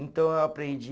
Então eu aprendi